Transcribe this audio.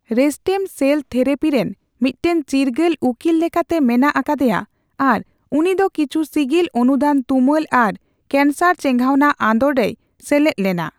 ᱨᱮᱥᱴᱮᱢᱼᱥᱮᱞ therapy ᱨᱮᱱ ᱢᱤᱫᱴᱟᱝ ᱪᱤᱨᱜᱟᱹᱞ ᱩᱠᱤᱞ ᱞᱮᱠᱟᱛᱮ ᱢᱮᱱᱟᱜ ᱟᱠᱟᱫᱮᱭᱟ ᱟᱨ ᱩᱱᱤᱫᱚ ᱠᱤᱪᱷᱩ ᱥᱤᱜᱤᱞ ᱚᱱᱩᱫᱟᱱ ᱛᱩᱢᱟᱹᱞ ᱟᱨ ᱠᱮᱱᱥᱟᱨ ᱪᱮᱸᱜᱷᱟᱣᱱᱟ ᱟᱸᱫᱳᱲ ᱨᱮᱭ ᱥᱮᱞᱮᱫ ᱞᱮᱱᱟ ᱾